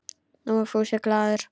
Nú var Fúsi glaður.